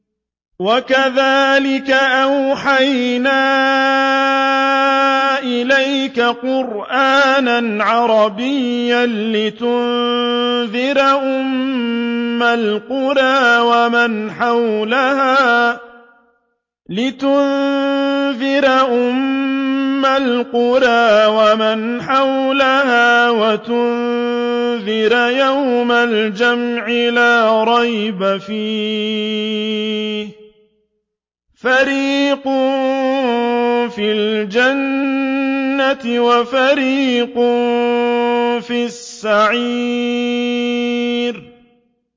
وَكَذَٰلِكَ أَوْحَيْنَا إِلَيْكَ قُرْآنًا عَرَبِيًّا لِّتُنذِرَ أُمَّ الْقُرَىٰ وَمَنْ حَوْلَهَا وَتُنذِرَ يَوْمَ الْجَمْعِ لَا رَيْبَ فِيهِ ۚ فَرِيقٌ فِي الْجَنَّةِ وَفَرِيقٌ فِي السَّعِيرِ